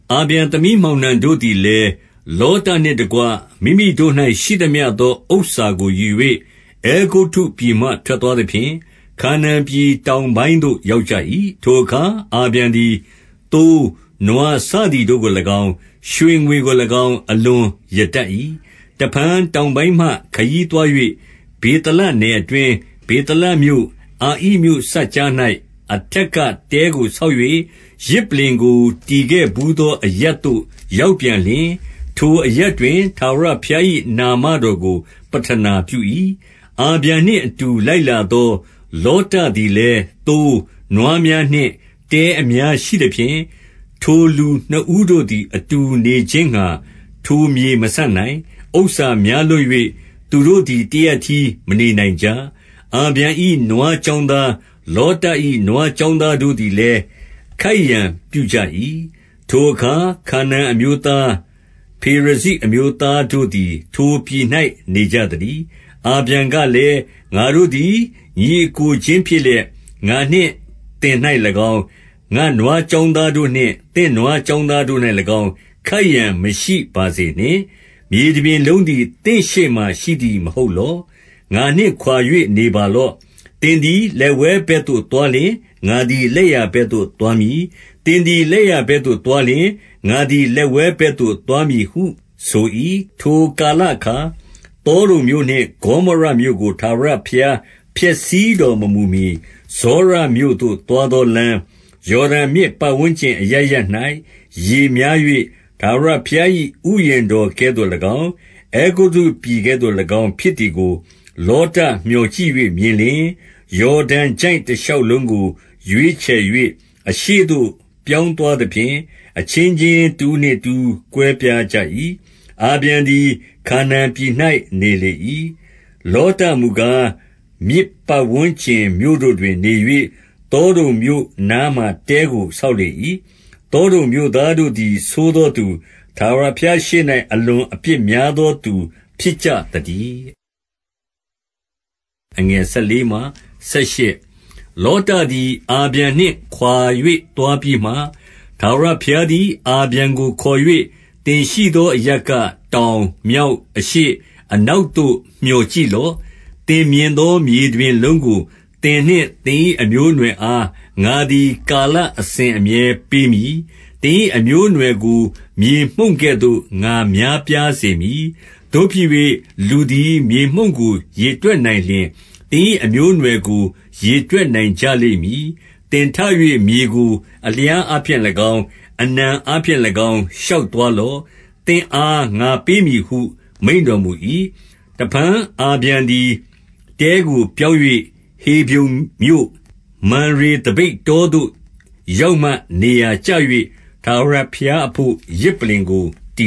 အာဗြံသမီးမောင်နှံတို့သည်လည်း၊ လောတနှင့် တကွ မိမိတို့၌ ရှိသမျှသော ဥစ္စာကိုယူ၍၊ အဲဂုတ္တုပြည်မှ ထွက်သွားသဖြင့်၊ ခါနာန်ပြည်တောင်ပိုင်းသို့ ရောက်ကြ၏။ ထိုအခါ အာဗြံသည်၊ သိုး၊ နွားစသည်တို့ကို၎င်း၊ ရွှေငွေကို၎င်း အလွန်ရတတ်၏။ တဖန်တောင်ပိုင်းမှ ခရီးသွား၍၊ ဗေသလနယ်အတွင်း၊ ဗေသလမြို့၊ အာဣမြို့စပ်ကြား၌၊ အထက်က တဲကိုဆောက်၍၊ ယဇ်ပလ္လင်ကိုတည်ခဲ့ဘူးသော အရပ်သို့ ရောက်ပြန်လျှင်၊ ထိုအရပ်တွင် ထာဝရဘုရား၏ နာမတော်ကို ပဌနာပြု၏။ အာဗြံနှင့်အတူ လိုက်လာသော လောတသည်လည်း သိုး၊ နွားများနှင့် တဲအများရှိသဖြင့်၊ ထိုလူနှစ်ဦးတို့သည် အတူနေခြင်းငှါ ထိုမြေ မဆံ့နိုင်။ ဥစ္စာများလွန်း၍၊ သူတို့သည် တရပ်တည်း မနေနိုင်ကြ။ အာဗြံ၏ နွား ကျောင်းသား၊ လောတ၏ နွားကျောင်းသားတို့သည်လည်း ခိုက်ရန်ပြုကြ၏။ ထိုအခါ၊ ခါနာန်အမျိုးသား၊ ဖေရဇိအမျိုးသားတို့သည် ထိုပြည်၌ နေကြသတည်း။ အာဗြံကလည်း၊ ငါတို့သည် ညီအစ်ကိုချင်းဖြစ်လျက်၊ ငါနှင့် သင်၌၎င်း၊ ငါ့နွားကျောင်းသားတို့နှင့်၊ သင့်နွားကျောင်းသားတို့၌၎င်း၊ ခိုက်ရန်မရှိပါစေနှင့်။ မြေတပြင်လုံးသည် သင့်ရှေ့မှာရှိသည် မဟုတ်လော့။ ငါနှင့် ခွာ၍နေပါလော့။ သင်သည် လက်ဝဲဘက်သို့ သွားလျှင်၊ ငါသည် လက်ျာဘက်သို့သွားမည်။ သင်သည် လက်ျာဘက်သို့ သွားလျှင်၊ ငါသည် လက်ဝဲဘက်သို့ သွားမည်ဟု ဆို၏။ ထိုကာလအခါ၊ သောဒုံမြို့နှင့် ဂေါမောရမြို့ကို ထာဝရဘုရား ဖျက်ဆီးတော်မမူမှီ၊ ဇောရမြို့သို့ သွားသောလမ်း၊ ယော်ဒန်မြစ် ပတ်ဝန်းကျင်အရပ်ရပ်၌ ရေများ၍ ထာဝရဘုရား၏ ဥယျာဉ်တော်ကဲ့သို့၎င်း အဲဂုတ္တုပြည် ကဲ့သို့၎င်းဖြစ်သည်ကို၊ လောတမြော်ကြည့်၍ မြင်လျှင်၊ ယော်ဒန်ချိုင့် တရှောက်လုံးကို ရွေးချယ်၍၊ အရှေ့သို့ ပြောင်းသွားသဖြင့်၊ အချင်းချင်း တဦးနှင့် တဦး ကွဲပြားကြ၏။ အာဗြံသည် ခါနာန်ပြည်၌ နေလေ၏။ လောတ မူကား၊ မြစ်ပတ်ဝန်းကျင်မြို့တို့တွင်နေ၍၊ သောဒုံမြို့ နားမှာ တဲကို ဆောက်လေ၏။ သောဒုံမြို့သားတို့သည် ဆိုးသောသူ၊ ထာဝရဘုရားရှေ့၌၊ အလွန်အပြစ်များသောသူ ဖြစ်ကြသတည်း။ လောတသည် အာဗြံနှင့်ခွါ၍ သွားပြီးမှ၊ ထာဝရဘုရားသည် အာဗြံကိုခေါ်၍၊ သင်ရှိသောအရပ်က၊ တောင်၊ မြောက်၊ အရှေ့၊ အနောက်သို့ မြော်ကြည့်လော့။ သင်မြင်သော မြေတပြင်လုံးကို၊ သင်နှင့်သင်၏ အမျိုးအနွယ်အား၊ ငါသည်ကာလအစဉ်အမြဲပေးမည်။ သင်၏အမျိုးအနွယ်ကို မြေမှုန့်ကဲ့သို့ ငါများပြားစေမည်။ သို့ဖြစ်၍ လူသည်မြေမှုန့်ကို ရေတွက်နိုင်လျှင်၊ သင်၏ အမျိုးအနွယ်ကို ရေတွက်နိုင်ကြလိမ့်မည်။ သင်ထ၍မြေကို အလျားအားဖြင့်၎င်း၊ အနံအားဖြင့်၎င်း ရှောက်သွားလော့။ သင်အား ငါပေးမည်ဟု မိန့်တော်မူ၏။ တဖန်အာဗြံသည် တဲကိုပြောင်း၍၊ ဟေဗြုန်မြို့၊ မံရေသပိတ်တောသို့ ရောက်မှ နေရာကျ၍ ထာဝရဘုရား အဘို့ ယဇ်ပလ္လင်ကို တ